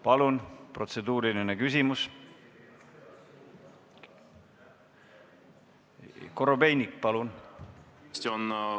Palun protseduuriline küsimus, Andrei Korobeinik!